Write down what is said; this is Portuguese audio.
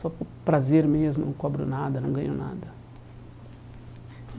Só por prazer mesmo, não cobro nada, não ganho nada.